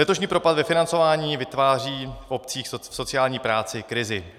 Letošní propad ve financování vytváří obcím v sociální práci krizi.